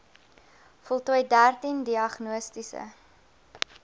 voltooi dertien diagnostiese